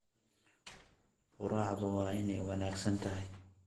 Quraacdu waa inay wanaagsan tahay.